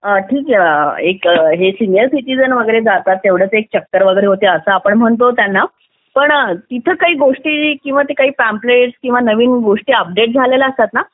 ठीक आहे senior citizen वगैरे जातात तेवढेच एक चक्कर वगैरे होते आपण असं म्हणतो त्यांना पण तिथे काही गोष्टी काही पॅम्प्लेट काही नवीन गोष्टी अपडेट झालेल्या असतात ना